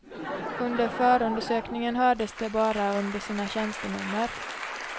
Under förundersökningen hördes de bara under sina tjänstenummer.